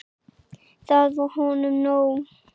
Það var honum nóg.